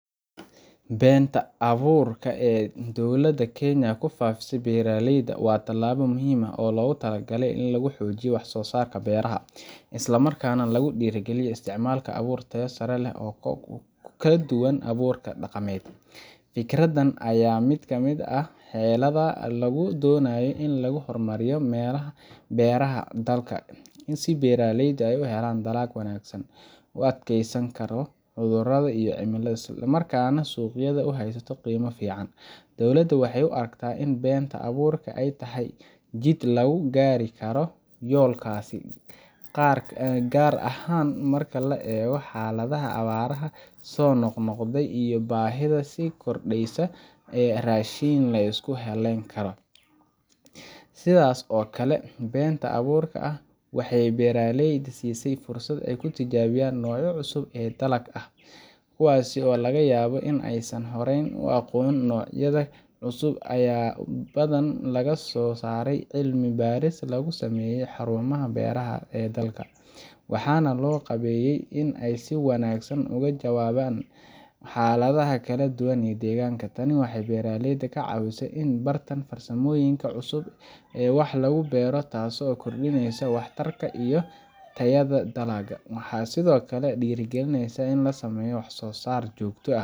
Beeenta abuurka ah ee dowladda Kenya ku faafisay beeraleyda waa tallaabo muhiim ah oo loogu talagalay in lagu xoojiyo wax-soo-saarka beeraha, isla markaana lagu dhiirrigeliyo isticmaalka abuur tayo sare leh oo ka duwan abuurka dhaqameed. Fikraddan ayaa ah mid ka mid ah xeeladaha lagu doonayo in lagu horumariyo beeraha dalka, si beeraleydu ay u helaan dalag wanaagsan, u adkeysan karo cudurrada iyo cimilada, isla markaana suuqyada ay u haysato qiimo fiican. Dowladda waxay u aragtaa in beeenta abuurka ah ay tahay jid lagu gaari karo yoolkaas, gaar ahaan marka loo eego xaaladaha abaaraha soo noqnoqda iyo baahida sii kordheysa ee raashin la isku halleyn karo. Sidaas oo kale, beeenta abuurka ah waxay beeraleyda siisay fursad ay ku tijaabiyaan noocyo cusub oo dalag ah, kuwaas oo laga yaabo in aysan horey u aqoon. Noocyadan cusub ayaa badanaa laga soo saaray cilmi baaris lagu sameeyay xarumaha beeraha ee dalka, waxaana loo qaabeeyey in ay si wanaagsan uga jawaabaan xaaladaha kala duwan ee deegaanka. Tani waxay beeraleyda ka caawisaa in ay bartaan farsamooyin cusub oo wax lagu beero, taasoo kordhinaysa waxtarka iyo tayada dalagga. Waxay sidoo kale dhiirrigelisaa in la sameeyo wax-soo-saar joogto ah